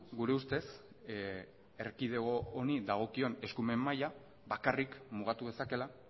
gure ustez erkidego honi dagokion eskumen maila bakarrik mugatu dezakeela